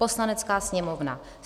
Poslanecká sněmovna